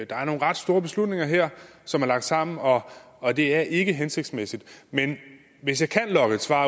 er nogle ret store beslutninger her som er lagt sammen og og det er ikke hensigtsmæssigt men hvis jeg kan lokke et svar